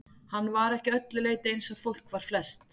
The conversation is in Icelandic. Hann var ekki að öllu leyti eins og fólk var flest.